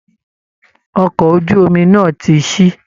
Ọkọ̀ ojú omi náà ti ṣí